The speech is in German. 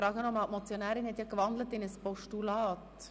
Da die Motionärin in ein Postulat gewandelt hat, frage ich noch einmal: